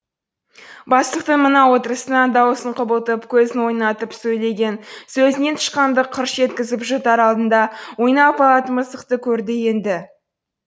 бастықтың мына отырысынан даусын құбылтып көзін ойнатып сөйлеген сөзінен тышқанды қырш еткізіп жұтар алдында ойнап алатын мысықты көрді енді